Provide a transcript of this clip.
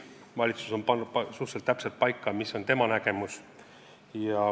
Valitsus on pannud suhteliselt täpselt paika, mis on tema nägemus.